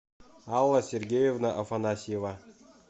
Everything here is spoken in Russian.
алла сергеевна афанасьева